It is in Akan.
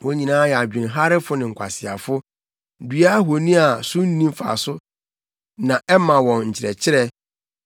Wɔn nyinaa yɛ adwenharefo ne nkwaseafo; dua ahoni a so nni mfaso na ɛma wɔn nkyerɛkyerɛ.